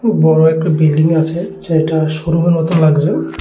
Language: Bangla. বড়ো একটা বিল্ডিং আছে যেটা শোরুমের মতো লাগছে।